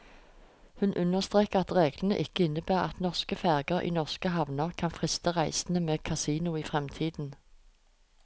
Hun understreker at reglene ikke innebærer at norske ferger i norske havner kan friste reisende med kasino i fremtiden.